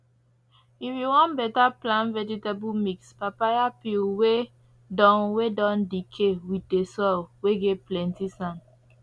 if you wan better plant vegetable mix papaya peel whey don whey don decay with the soil whey get plenty sand